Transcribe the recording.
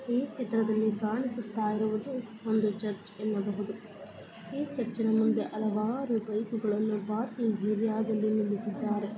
ಈ ಚಿತ್ರದಲ್ಲಿ ಕಾಣಿಸುತ್ತ ಇರುವುದು ಒಂದು ಚರ್ಚ್ ಅನ್ನಬಹುದು ಈ ಚುರ್ಚಿನ್ ಮುಂದೆ ಹಲವಾರು ಬೈಕ್ ಗಳನ್ನೂ ಪಾರ್ಕಿಂಗ್ ಏರಿಯಾ ದಲ್ಲಿ ನಿಲ್ಲಿಸಿದ್ದಾರೆ .